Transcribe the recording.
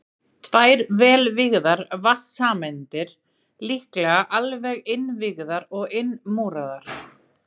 Tvær vel vígðar vatnssameindir, líklega alveg innvígðar og innmúraðar.